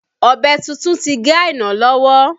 Ọ̀bẹ tuntun ti gé Aina lọ́wọ́